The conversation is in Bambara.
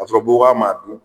Kasɔrɔ buubaa m'a dun